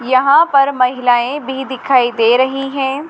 यहाँ पर महिलाएँ भी दिखाई दे रही हैं।